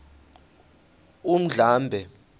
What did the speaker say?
undlambe